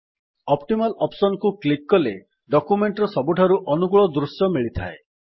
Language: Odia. ଅପ୍ଟିମାଲ ଅପ୍ସନ୍ କୁ କ୍ଲିକ୍ କଲେ ଡକ୍ୟୁମେଣ୍ଟ୍ ର ସବୁଠାରୁ ଅନୁକୂଳ ଦୃଶ୍ୟ ମିଳିଥାଏ